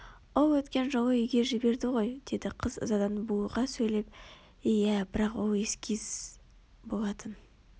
ол өткен жолы үйге жіберді ғой деді қыз ызадан булыға сөйлеп иә бірақ ол эскиз болатын